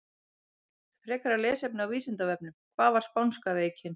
Frekara lesefni á Vísindavefnum: Hvað var spánska veikin?